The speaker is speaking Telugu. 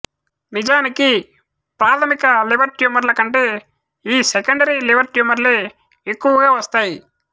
నిజానికి ప్రాథమిక లివర్ ట్యూమర్ల కంటే ఈ సెకండరీ లివర్ ట్యూమర్లే ఎక్కువగా వస్తాయి